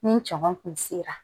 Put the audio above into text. Ni caman kun sera